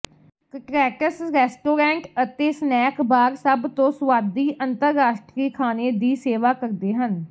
ਕਟਰੈਟਸ restaurant ਅਤੇ snack bar ਸਭ ਤੋਂ ਸੁਆਦੀ ਅੰਤਰਰਾਸ਼ਟਰੀ ਖਾਣੇ ਦੀ ਸੇਵਾ ਕਰਦੇ ਹਨ